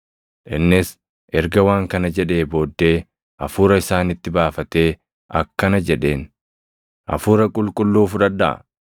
Innis erga waan kana jedhee booddee Hafuura isaanitti baafatee akkana jedheen; “Hafuura Qulqulluu fudhadhaa.